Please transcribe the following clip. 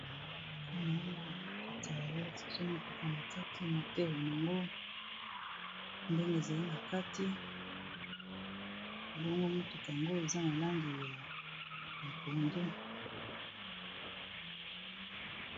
Awa naomana motuka bala Kisi biso motuka na kati moteur nango, ndenge ezali na kati, bongo motuka yango eza na langi ya pondu.